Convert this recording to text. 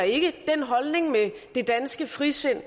ikke den holdning med det danske frisind